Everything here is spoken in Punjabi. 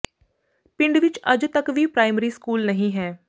ਪਿੰਡ ਵਿੱਚ ਅੱਜ ਤੱਕ ਵੀ ਪ੍ਰਾਇਮਰੀ ਸਕੂਲ ਨਹੀਂ ਹੈ